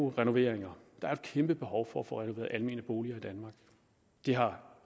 renoveringer der er et kæmpebehov for at få renoveret almene boliger i danmark det har